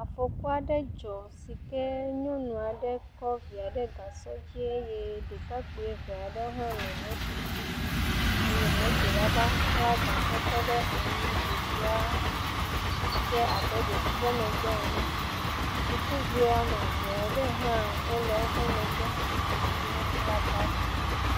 Afɔku aɖe dzɔ si ke nyɔnu aɖe kɔ via ɖe gasɔ dzi eye ɖekakpui eve aɖewo hã nɔ moto dzi eye moto la va xla gasɔtɔ ɖe anyi, ɖevia dze abe ɖe wòtrɔ megbe ene, sukuviwo woame eve aɖewo hã wole woƒe megbe eye wokpla bagi.